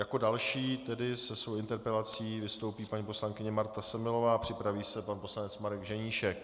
Jako další tedy se svou interpelací vystoupí paní poslankyně Marta Semelová, připraví se pan poslanec Marek Ženíšek.